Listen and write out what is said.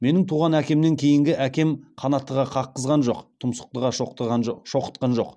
менің туған әкемнен кейінгі әкем қанаттыға қаққызған жоқ тұмсықтыға шоқытқан жоқ